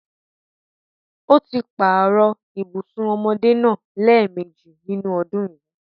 Ó páàrọ̀ ibùsùn ọmọdé náà lẹ́ẹ̀mejì nínú ọdún yìí.